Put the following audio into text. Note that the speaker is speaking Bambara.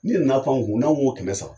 N'i nan'a pan anw kun, n'anw ko kɛmɛ saba,